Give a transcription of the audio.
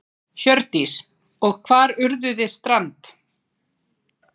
Hjördís: Og hvar urðuð þið strand?